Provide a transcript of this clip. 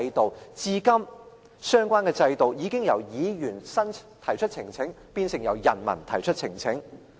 但至今相關制度已經由議員提出呈請，變成由人民提出呈請。